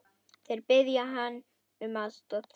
Þeir biðja hann um aðstoð.